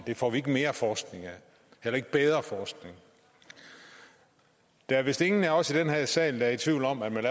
det får vi ikke mere forskning af heller ikke bedre forskning der er vist ingen af os i den her sal der er i tvivl om at man